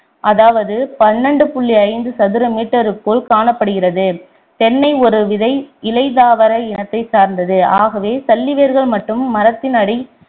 அதாவது பண்ணிரெண்டு புள்ளி ஐந்து சதுர meter க்குள் காணப்படுகிறது தென்னை ஒரு விதை இலைத்தாவர இனத்தைச் சார்ந்தது ஆகவே சல்லி வேர்கள் மட்டும் மரத்தின் அடி